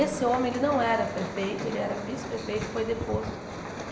Esse homem ele não era prefeito, ele era vice-prefeito e foi deposto.